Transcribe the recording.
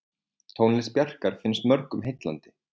Tónlist Bjarkar finnst mörgum heillandi.